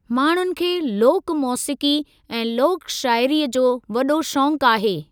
माण्हुनि खे लोक मोसीक़ी ऐं लोक शाइरीअ जो वॾो शौक़ आहे।